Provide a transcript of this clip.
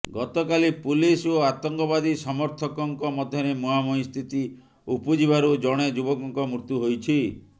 ଗତକାଲି ପୁଲିସ ଓ ଆତଙ୍କବାଦୀ ସମର୍ଥକଙ୍କ ମଧ୍ୟରେ ମୁହାଁମୁହିଁ ସ୍ଥିତି ଉପୁଜିବାରୁ ଜଣେ ଯୁବକଙ୍କ ମୃତ୍ୟୁ ହୋଇଛି